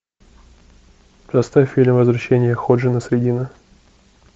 поставь фильм возвращение ходжи насреддина